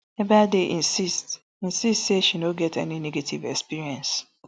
ebaide insist insist say she no get any negative experience